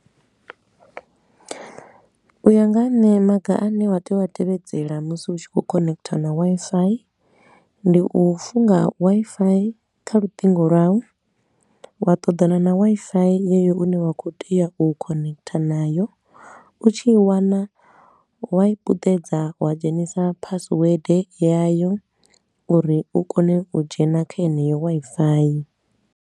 U ya nga ha nṋe maga a ne wa tea u a tevhedzela musi u tshi khou connecter na Wi-Fi. Ndi u funga Wi-Fi kha lutingo lwau, wa ṱoḓana na Wi-Fi yeyo u ne wa khou tea u connecter nayo, u tshi i wana, wa puṱedza wa dzhenisa phasiwede yayo uri u kone u dzhena kha yeneyo Wi-Fi.